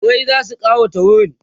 furrai zasu kawata wurin